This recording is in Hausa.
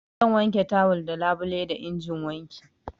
Zan wanke tawal da labule da injin wanki.